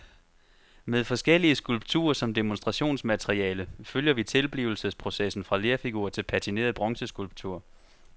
Med forskellige skulpturer som demonstrationsmateriale følger vi tilblivelsesprocessen fra lerfigur til patineret bronzeskulptur.